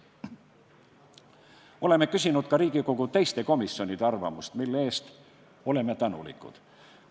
Oleme küsinud ka Riigikogu teiste komisjonide arvamust, mille eest oleme tänulikud.